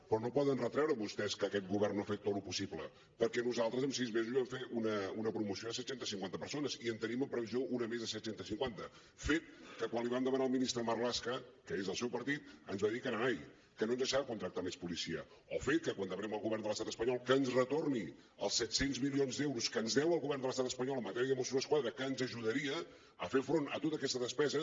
però no poden retreure vostès que aquest govern no hagi fet tot lo possible perquè nosaltres en sis mesos vam fer una promoció de set cents i cinquanta persones i en tenim en previsió una més de set cents i cinquanta fet que quan l’hi vam demanar al ministre marlaska que és del seu partit ens va dir que nanai que no ens deixava contractar més policia o fet que quan demanem al govern de l’estat espanyol que ens retorni els set cents milions d’euros que ens deu el govern de l’estat espanyol en matèria de mossos d’esquadra que ens ajudaria a fer front a tota aquesta despesa